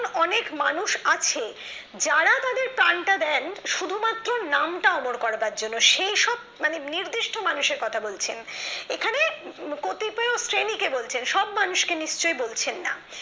অনেক মানুষ আছে যারা তাদের প্রাণ টা দেন শুধুমাত্র নামটা অমল করার জন্য সেইসব মানে নির্দিষ্ট মানুষের কথা বলছে এখানে কটিপেয় শ্রেণী কে বলছেন সব মানুষকে নিশ্চয়ই বলছেন না